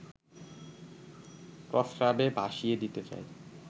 প্রস্রাবে ভাসিয়ে দিতে চায়